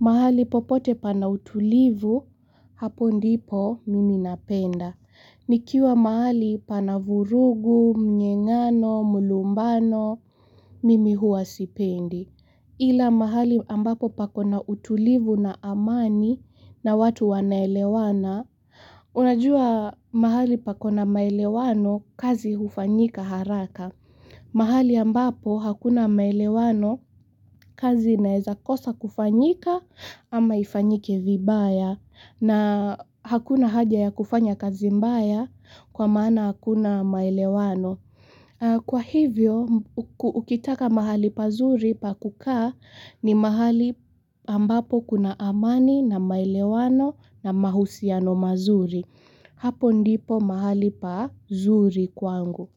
Mahali popote pana utulivu, hapo ndipo mimi napenda. Nikiwa mahali pana vurugu, mnyeng'ano, mlumbano, mimi hua sipendi. Ila mahali ambapo pako. Na utulivu na amani na watu wanaelewana, unajua mahali pako na maelewano kazi hufanyika haraka. Mahali ambapo hakuna maelewano kazi inaeza kosa kufanyika ama ifanyike vibaya na hakuna haja ya kufanya kazi mbaya kwa maana hakuna maelewano. Kwa hivyo, ukitaka mahali pazuri pakukaa ni mahali ambapo kuna amani na maelewano na mahusiano mazuri. Hapo ndipo mahali pazuri kwangu.